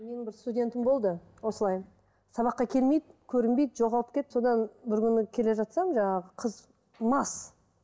менің бір студентім болды осылай сабаққа келмейді көрінбейді жоғалып кетті содан бір күні келе жатсам жаңағы қыз мас